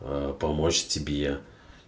а помочь тебе